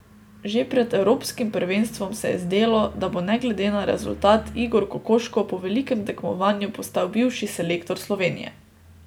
Že pred evropskim prvenstvom se je zdelo, da bo ne glede na rezultat Igor Kokoškov po velikem tekmovanju postal bivši selektor Slovenije.